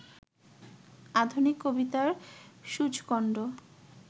আধুনিক কবিতার সূচকণ্ড